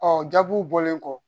Ɔ jaabuw bɔlen kɔ